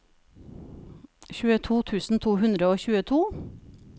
tjueto tusen to hundre og tjueto